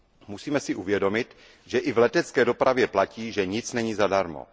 Musíme si uvědomit, že i v letecké dopravě platí, že nic není zadarmo.